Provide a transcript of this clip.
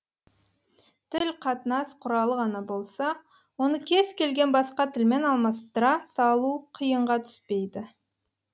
тіл қатынас құралы ғана болса оны кез келген басқа тілмен алмастыра салу қиынға түспейді